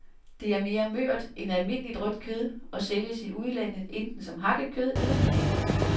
Det er mere mørt end almindeligt rødt kød og sælges i udlandet enten som hakket kød eller filet.